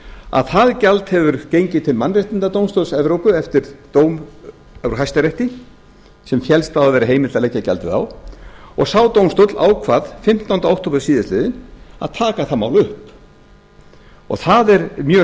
að það gjald hefur gengið til mannréttindadómstóls evrópu eftir dóm úr hæstarétti sem féllst á að það væri heimilt að leggja gjaldið á og sá dómstóll ákvað fimmtánda október síðastliðinn að taka það mál upp það er mjög